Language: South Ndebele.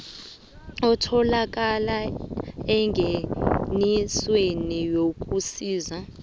etholakala engenisweni yokusisa